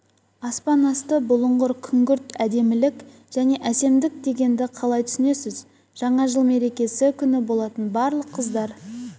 аспан асты бұлыңғыр күңгірт әдемілік және әсемдік дегенді қалай түсінесіз жаңа-жыл мерекесі күні болатын барлық қыздар